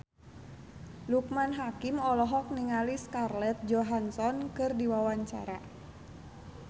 Loekman Hakim olohok ningali Scarlett Johansson keur diwawancara